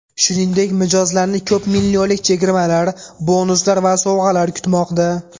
Shuningdek, mijozlarni ko‘p millionlik chegirmalar, bonuslar va sovg‘alar kutmoqda.